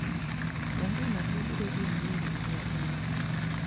onge ng'at mabiro riembi e riwruogwa